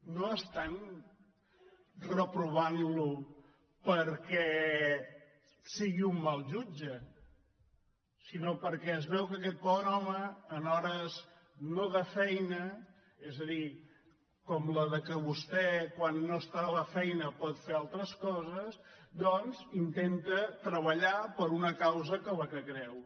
no estan reprovant lo perquè sigui un mal jutge sinó perquè es veu que aquest bon home en hores no de feina és a dir com les que vostè quan no és a la feina pot fer altres coses doncs intenta treballar per una causa en la qual creu